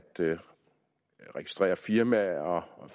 registrere firmaer og